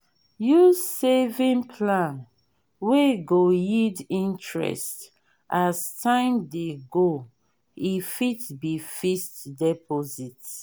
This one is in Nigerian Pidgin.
use saving plan wey go yield interest as time dey go e fit be fixed deposit